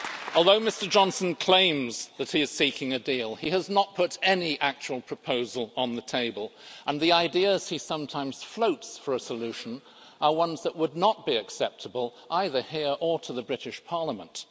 Although Mr Johnson claims that he is seeking a deal, he has not put any actual proposal on the table, and the ideas he sometimes floats for a solution are ones that would not be acceptable either here or to the British Parliament.